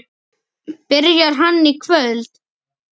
Byrjar hann í kvöld?